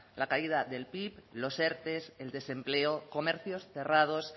la caída del pib los erte el desempleo comercios cerrados